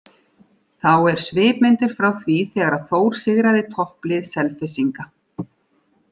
Þá er svipmyndir frá því þegar að Þór sigraði topplið Selfyssinga.